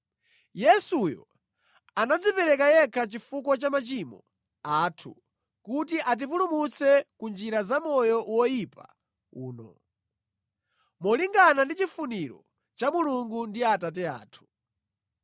Yesuyo anadzipereka yekha chifukwa cha machimo athu kuti atipulumutse ku njira za moyo woyipa uno, molingana ndi chifuniro cha Mulungu ndi Atate athu.